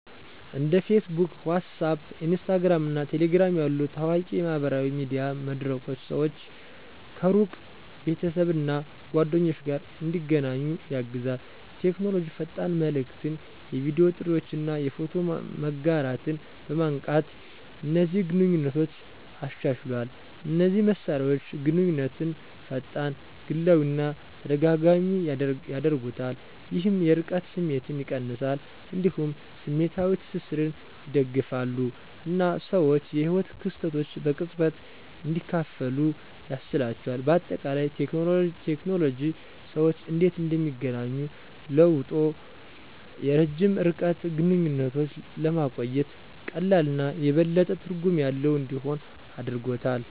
እንደ Facebook፣ WhatsApp፣ Instagram እና Telegram ያሉ ታዋቂ የማህበራዊ ሚዲያ መድረኮች ሰዎች ከሩቅ ቤተሰብ እና ጓደኞች ጋር እንዲገናኙ ያግዛሉ። ቴክኖሎጂ ፈጣን መልዕክትን፣ የቪዲዮ ጥሪዎችን እና የፎቶ መጋራትን በማንቃት እነዚህን ግንኙነቶች አሻሽሏል። እነዚህ መሳሪያዎች ግንኙነትን ፈጣን፣ ግላዊ እና ተደጋጋሚ ያደርጉታል፣ ይህም የርቀት ስሜትን ይቀንሳል። እንዲሁም ስሜታዊ ትስስርን ይደግፋሉ እና ሰዎች የህይወት ክስተቶችን በቅጽበት እንዲያካፍሉ ያስችላቸዋል። በአጠቃላይ፣ ቴክኖሎጂ ሰዎች እንዴት እንደሚገናኙ ለውጦ የረጅም ርቀት ግንኙነቶችን ለማቆየት ቀላል እና የበለጠ ትርጉም ያለው እንዲሆን አድርጎታል።